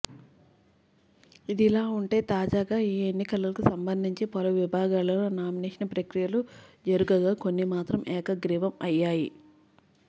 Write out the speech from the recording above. ఇదిలాఉంటే తాజాగా ఈ ఎన్నికలలు సంభందించి పలు విభాగాలలో నామినేషన్ ప్రక్రియలు జరుగగా కొన్ని మాత్రం ఏకగ్రీవం అయ్యాయి